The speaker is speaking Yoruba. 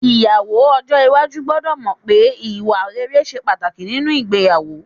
Ìyàwó ọjọ́ iwájú gbọ́dọ̀ mọ̀ pé ìwà ṣe pàtàkì nínú ìgbéyàwó